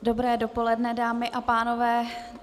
Dobré dopoledne, dámy a pánové.